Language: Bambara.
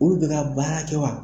Olu bɛ ka baara kɛ wa?